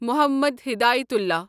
Mohammad Hidayatullah